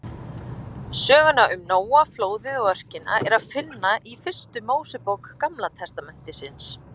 Söguna um Nóa, flóðið og örkina er að finna í fyrstu Mósebók Gamla testamentisins.